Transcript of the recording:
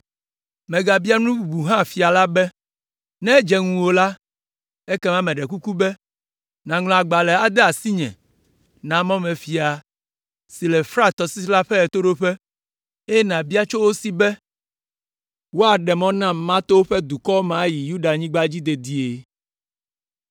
Megabia nu bubu hã fia la be, “Ne edze ŋuwò la, ekema meɖe kuku be nàŋlɔ agbalẽ ade asinye na mɔmefia siwo le Frat tɔsisi la ƒe ɣetoɖoƒe, eye nàbia tso wo si be woaɖe mɔ nam mato woƒe dukɔwo me ayi Yudanyigba dzi dedie.